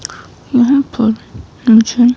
यहां पर मुझे--